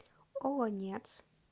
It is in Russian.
олонец